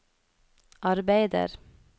arbeider